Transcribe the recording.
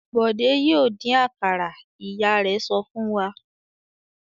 "Bọ̀dé yóò dín àkàrà!" Ìyá rẹ̀ sọ fún wa.